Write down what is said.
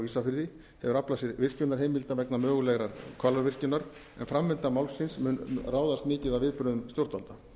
ísafirði hefur aflað sér virkjunarheimilda vegna mögulegrar hvalárvirkjunar en framvinda málsins mun ráðast mikið af viðbrögðum stjórnvalda